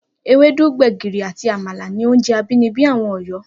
Ewédú, gbè̩gìrì àti àmàlà ni oúnje̩ abínibí àwo̩n Ò̩yó̩